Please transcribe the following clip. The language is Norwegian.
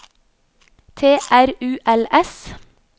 T R U L S